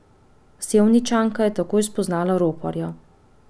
Sevničanka je takoj spoznala roparja.